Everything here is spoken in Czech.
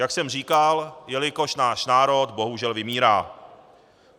Jak jsem říkal, jelikož náš národ bohužel vymírá.